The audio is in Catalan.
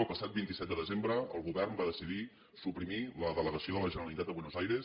el passat vint set de desembre el govern va decidir suprimir la delegació de la generalitat a buenos aires